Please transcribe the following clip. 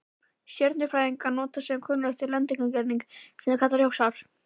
Stjörnufræðingar nota sem kunnugt er lengdareiningu, sem þeir kalla ljósár.